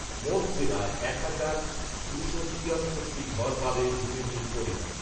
মোট জেলায় এক হাজার দুশো তিয়াত্তরটি টি ঘর পাবে ভূমিহীন পরিবার